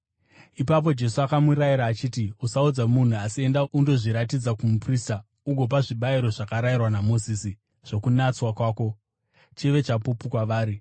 Ipapo Jesu akamurayira akati, “Usaudza munhu, asi enda undozviratidza kumuprista ugopa zvibayiro zvakarayirwa naMozisi zvokunatswa kwako, chive chapupu kwavari.”